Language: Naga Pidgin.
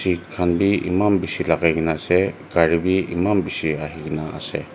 seat kan bi eman bishi lagai kina ase gari bi eman bishi ahi kina ase.